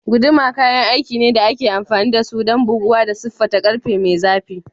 Guduma kayan aiki ne da ake amfani da su don buguwa da siffata ƙarfe mai zafi.